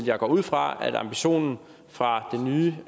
jeg går ud fra at ambitionen fra den nye